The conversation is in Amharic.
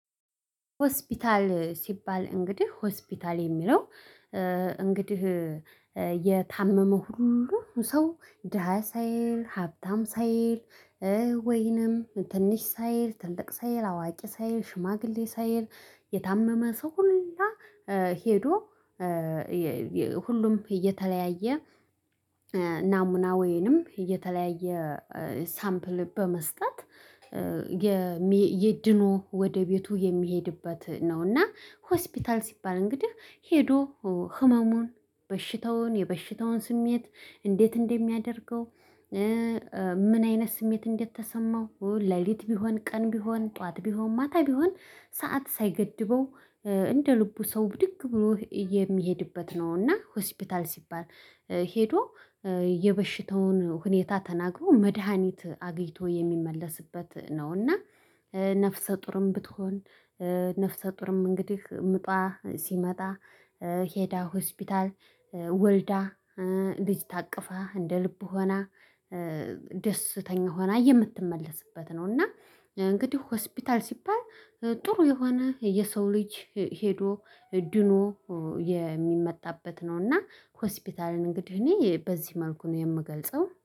ሆስፒታል ሲባል እንግዲህ ሆስፒታል የሚለው እንግዲህ የታመመ ሁሉ ሰው ደሃ ሳይል ሀብታም ሳይል። ወይንም ትንሽ ሳይል ትልቅ ሳይል አዋቂ ሳይል ሽማግሌ ሳይል የታመመ ሰው ሁላ ሄዶ ሁሉም እየተለያየ ናሙና ወንም እየተለያየ ሳምፕል በመስጠት ድኖ ወደ ቤቱ የሚሄድበት ነው። እና ሆስፒታል ሲባል እንግዲህ ሄዶ ህመሙን በሽታውን የበሽታውን ስሜት እንዴት እንደሚያደርገው? ምን አይነት ስሜት እንደተሰማው ሌሊት ቢሆን ቀን ቢሆን ጠዋት ቢሆን ማታ ቢሆን ሰዓት ሳይገድበው እንደ ልቡ ሰው ብድግ ብሎ የሚሄድበት ነው። እና ሆስፒታል ሲባል ሄዶ የበሽታውን ሁኔታ ተናግሮ መድሃኒት አግይቶ የሚመለስበት ነው። እና ነፍሰ ጡርም ብትሆን ነፍሰ ጡርም እንግዲህ ምጧ ሲመጣ ሄዳ ሆስፒታል ወልዳ ልጅ ታቅፋ እንደ ልብ ሆና ደስተኛ ሆና የምትመለስበት ነው። እና እንግዲህ ሆስፒታል ሲባል ጥሩ የሆነ የሰው ልጅ ሄዶ ድኖ የሚመጣበት ነው። እና ሆስፒታልን እንግዲህ እኔ በዚህ መልኩ ነው የምገልጸው